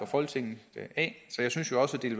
folketinget så jeg synes jo også at det